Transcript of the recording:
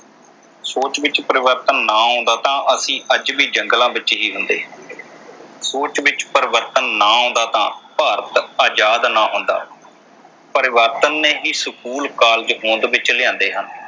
ਸੋਚ ਵਿਚ ਪਰਿਵਰਤਨ ਨਾ ਆਉਂਦਾ ਤਾਂ ਅਸੀ ਅੱਜ ਵੀ ਜੰਗਲਾਂ ਵਿਚ ਹੁੰਦੇ। ਸੋਚ ਵਿਚ ਪਰਿਵਰਤਨ ਨਾ ਆਉਂਦਾ ਤਾਂ ਭਾਰਤ ਆਜਾਦ ਨਾ ਹੁੰਦਾ। ਪਰਿਵਰਤਨ ਨੇ ਹੀ ਸਕੂਲ, ਕਾਲਜ ਹੋਂਦ ਵਿਚ ਲਿਆਂਦੇ ਹਨ।